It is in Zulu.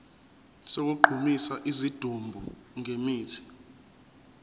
sokugqumisa isidumbu ngemithi